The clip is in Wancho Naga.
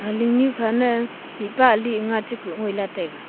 lingnu khana Mihpa ali anga chakuh taiga.